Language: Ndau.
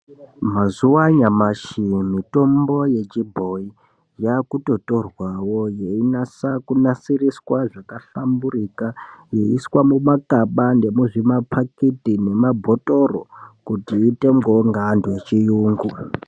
Mazuva anyamashi mitombo yechibhoi yakutotorwawo yeinasa kunasiriswa zvakahlamburika yeiiswa mumakaba nemuzvipakiti nemabhotoro kuti itengweyo ngeantu echiungu.